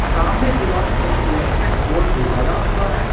सामने दीवाल में एक इलेक्ट्रिक बोर्ड भी लगा हुआ है।